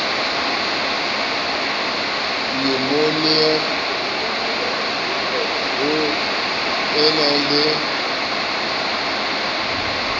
nyumonia ho e na le